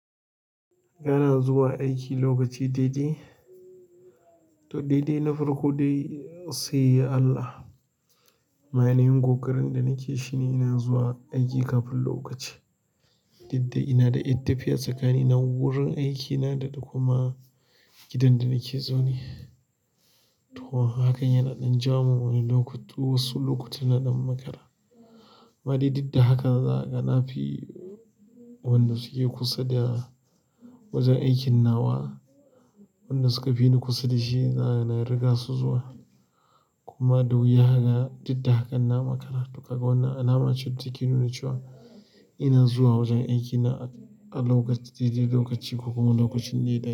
Kana zuwa aiki lokaci daidai, to daidai na farko dai sai Allah. Ainahin ƙoƙarin da nake shi ne ina zuwa aiki kafin lokaci. Duk da ina da ƴar tafiya tsakanin wurin aikina da kuma gidan da nake zaune. To, hakan yana ɗan jawo wani lokutu, wasu lokuta ina ɗan makara. Amma dai duk da haka za ka ga nafi-- wanda suke kusa da wajen aikin nawa, wanda suka fi ni kusa da shi na riga su zuwa kuma da wuya haka didda hakan na makara. To kaga wannan alama ce take nuna cewa ina zuwa wajen aikina a lokaci daidai lokaci ko kuma lokacin daidai.